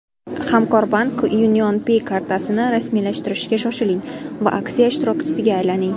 Hamkorbank UnionPay kartasini rasmiylashtirishga shoshiling va aksiya ishtirokchisiga aylaning!